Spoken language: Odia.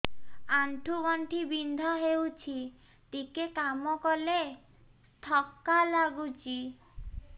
ଆଣ୍ଠୁ ଗଣ୍ଠି ବିନ୍ଧା ହେଉଛି ଟିକେ କାମ କଲେ ଥକ୍କା ଲାଗୁଚି